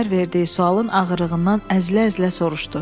Əsmər verdiyi sualın ağırlığından əzilə-əzilə soruşdu.